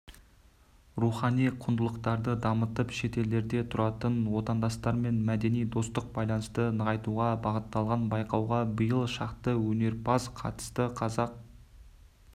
рухани құндылықтарды дамытып шетелдерде тұратын отандастармен мәдени-достық байланысты нығайтуға бағытталған байқауға биыл шақты өнерпаз қатысты қазақ